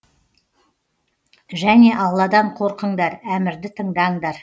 және алладан қорқыңдар әмірді тыңдаңдар